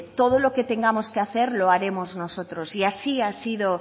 todo lo que tengamos que hacer lo haremos nosotros y así ha sido